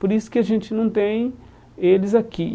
Por isso que a gente não tem eles aqui.